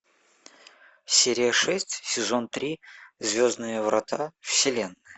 серия шесть сезон три звездные врата вселенная